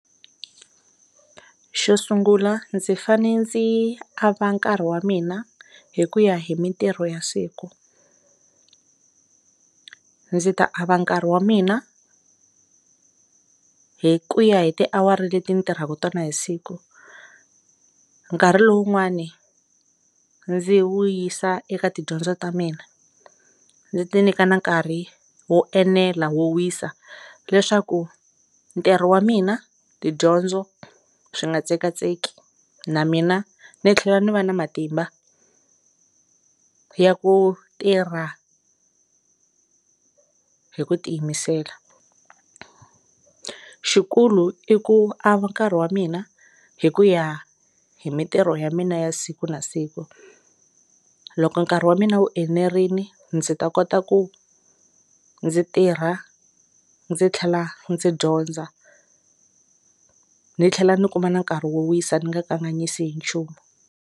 Xo sungula ndzi fane ndzi ava nkarhi wa mina hi ku ya hi mintirho ya siku ndzi ta ava nkarhi wa mina hi ku ya hi tiawara leti ni tirhaka tona hi siku nkarhi lowun'wani ndzi wu yisa eka tidyondzo ta mina ni ti nyika na nkarhi wo enela wo wisa leswaku ntirho wa mina, tidyondzo swi nga tsekatseki na mina ni tlhela ni va ni matimba ya ku tirha hi ku tiyimisela xi kulu i ku a va nkarhi wa mina hi ku ya hi mitirho ya mina ya siku na siku loko nkarhi wa mina wu enerini ndzi ta kota ku ndzi tirha ndzi tlhela ndzi dyondza ni tlhela ni kuma nkarhi wo wisa ni nga kanganyisi hi nchumu.